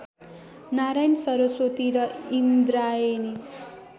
नारायण सरस्वती र इन्द्रायणी